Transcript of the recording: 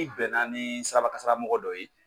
N'i bɛnna ni sirabakasara mɔgɔ dɔ ye